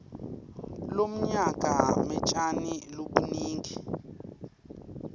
lomnyaka kmetjani lobunigi